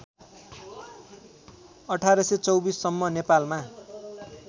१८२४ सम्म नेपालमा